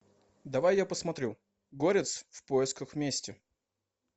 давай я посмотрю горец в поисках мести